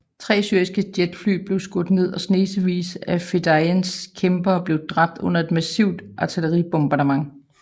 Tre syriske jetfly blev skudt ned og snesevis af fedayeen kæmpere blev dræbt under et massivt artilleribombardement